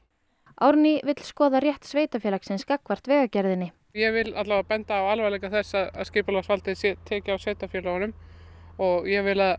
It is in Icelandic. Árný vill skoða rétt sveitarfélagsins gagnvart Vegagerðinni ég vil benda á alvarleika þess að skipulagsvaldið er tekið af sveitarfélaginu og ég vil að